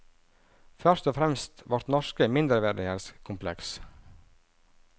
Først og fremst vårt norske mindreverdighetskompleks.